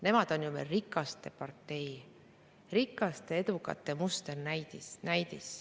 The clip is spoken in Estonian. Nemad on ju meil rikaste partei, rikaste ja edukate musternäidis.